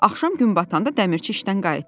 Axşam gün batanda dəmirçi işdən qayıtdı.